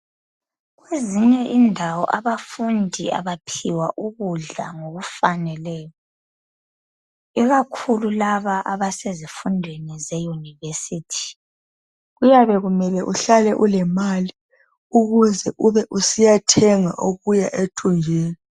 Ezinye indawo abafundi abaphiwa ukudla ngokufaneleyo ikakhulu laba abasezifundeni zeyunivesithi kuyabe kufanele uhlale ulemali ukuze ube usiyathenga okuya ethunjini.